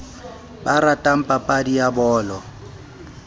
ba ratang papadi ya bolo